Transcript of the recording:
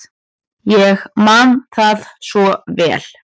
Ég man það svo vel.